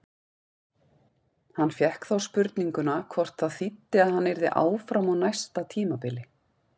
Hann fékk þá spurninguna hvort það þýddi að hann yrði áfram á næsta tímabili?